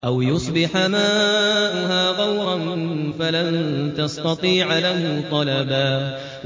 أَوْ يُصْبِحَ مَاؤُهَا غَوْرًا فَلَن تَسْتَطِيعَ لَهُ طَلَبًا